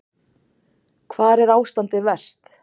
Hvar er ástandið verst?